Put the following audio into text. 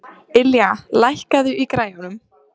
Ylja, lækkaðu í græjunum.